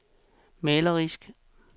malerisk